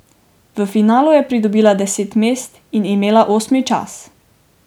V finalu je pridobila deset mest in imela osmi čas.